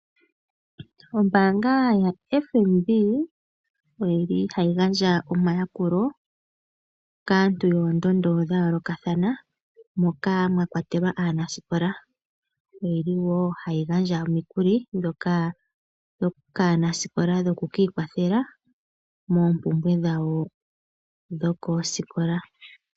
Ombaanga yaFNB oyili hayi gandja omayakulo kaantu yoondondo dhayoolokathana moka mwakwatelwa aanasikola, oyili wo hayi gandja omikuli kaanasikola dhoku ikwathela moompumbwe dhawo dhokoosikola.